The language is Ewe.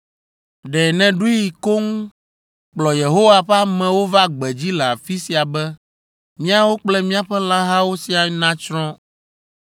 Ɖe nèɖoe koŋ kplɔ Yehowa ƒe amewo va gbedzi le afi sia be míawo kple míaƒe lãhawo siaa natsrɔ̃!